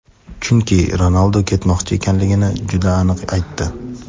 chunki Ronaldu ketmoqchi ekanligini juda aniq aytdi.